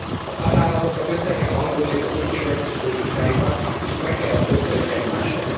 A tagállamoknak össze kell hangolniuk a költségvetési politikájukat és meg kell azt osztaniuk egymással.